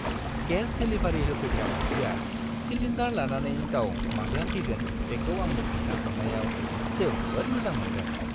Gas delivery होफैग्रा मानसिया cylinder लानानै गाव माब्ला फैगोन बेखौ आंनो खोनथा हरनायाव जोबोद मोजां मोनदां।